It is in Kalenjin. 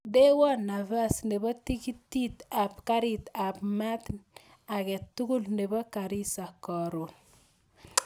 Ndewan nafas nebo tikiti ab karit ab maat age tugul nebo garissa karun